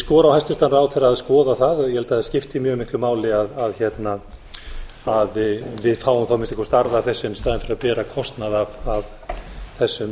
skora á hæstvirtan ráðherra að skoða það ég held að það skipti mjög miklu máli að við fáum að minnsta kosti arð af þessu í staðinn fyrir að bera kostnað af þessum